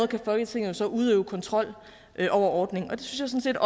kan folketinget så udøve kontrol med ordningen og det synes jeg